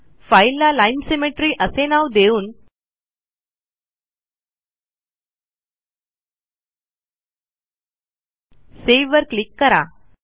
फाईलला Line symmetryअसे नाव देऊन सावे वर क्लिक करा